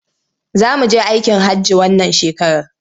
Za mu je aikin hajji wannan shekarar.